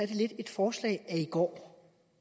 det lidt et forslag af i går